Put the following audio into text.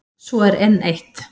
Svo er enn eitt.